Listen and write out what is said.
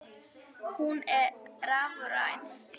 Hún er rafræn.